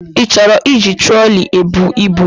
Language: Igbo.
Ị chọrọ iji troli ebu ibu?